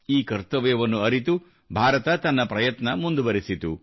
ಈ ಕರ್ತವ್ಯವನ್ನು ಅರಿತು ಭಾರತ ತನ್ನ ಪ್ರಯತ್ನ ಮುಂದುವರಿಸಿತು